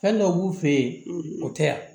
Fɛn dɔ b'u fɛ yen o tɛ yan